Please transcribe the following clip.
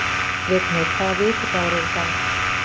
Vignir, hvaða vikudagur er í dag?